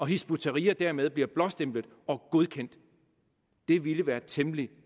hizb ut tahrir dermed bliver blåstemplet og godkendt det ville være temmelig